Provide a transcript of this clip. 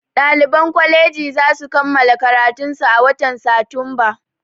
Ɗaliban kwaleji zasu kammala karatunsu a watan satumba